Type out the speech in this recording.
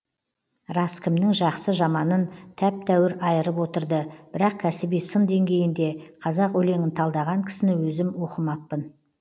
рас кімнің жақсы жаманын тәп тәуір айырып отырды бірақ кәсіби сын деңгейінде қазақ өлеңін талдаған кісіні өзім оқымаппын